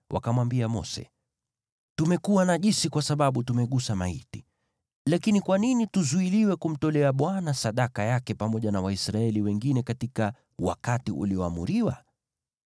wakamwambia Mose, “Tumekuwa najisi kwa sababu tumegusa maiti, lakini kwa nini tuzuiliwe kumtolea Bwana sadaka yake pamoja na Waisraeli wengine katika wakati ulioamriwa?”